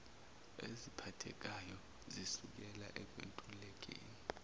eziphathekayo zisukela ekwentulekeni